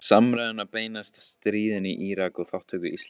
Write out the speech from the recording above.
Samræðurnar beinast að stríðinu í Írak og þátttöku Íslands í því.